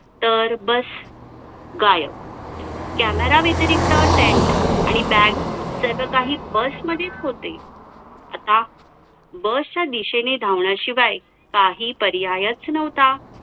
अध्यक्षपद भूषवणारे म्हणजे इंदिरा गांधी ,सोनिया गांधी यांनी अध्यक्षपद भूषवले.